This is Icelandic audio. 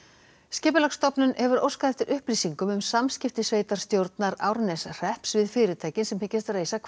skipulagsstofnun hefur óskað eftir upplýsingum um samskipti sveitarstjórnar Árneshrepps við fyrirtækin sem hyggjast reisa